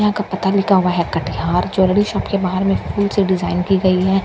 यहाँ का पता लिखा हुआ है कटिहार ज्वेलरी शॉप के बाहर में फूल से डिजाइन की गई है बहड़ में --